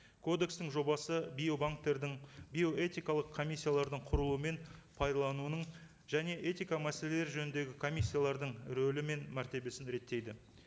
кодекстің жобасы биобанктердің биоэтикалық комиссиялардың құруы мен пайдалануының және этика мәселелері жөніндегі комиссиялардың рөлі мен мәртебесін реттейді